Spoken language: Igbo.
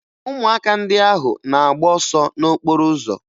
Ụmụaka ndị ahụ na-agba ọsọ n'okporo ụzọ